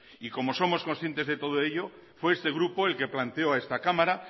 y como somos concientes de todo ello fue este grupo el que planteó a esta cámara